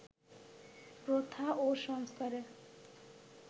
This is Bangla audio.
প্রথা ও সংস্কারে